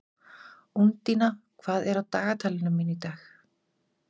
Úndína, hvað er á dagatalinu mínu í dag?